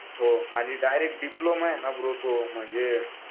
हो आणि direct diploma आहे ना ब्रो तो म्हणजे